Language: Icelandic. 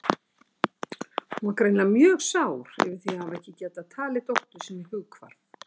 Hún var greinilega mjög sár yfir því að hafa ekki getað talið dóttur sinni hughvarf.